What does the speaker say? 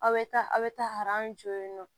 Aw bɛ taa aw bɛ taa jɔ yen nɔ